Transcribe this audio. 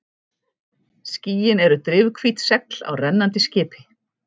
Skýin eru drifhvít segl á rennandi skipi.